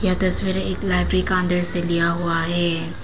यह तस्वीर एक लाइब्रेरी का अंदर से लिया हुआ है।